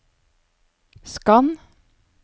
skann